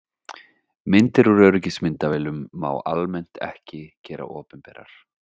Myndir úr öryggismyndavélum má almennt ekki gera opinberar.